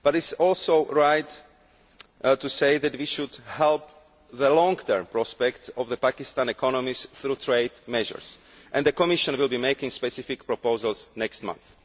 But it is also right to say that we should help the long term prospects of the Pakistan economy through trade measures, and the Commission will be making specific proposals next month.